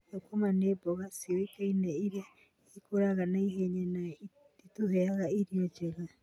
Thũkũma nĩ mboga cioĩkaine irĩa ikũraga naihenya na itũheaga irio njega.